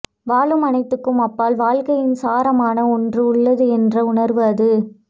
வாழும் அனைத்துக்கும் அப்பால் வாழ்க்கையின் சாரமான ஒன்று உள்ளது என்ற உணர்வு அது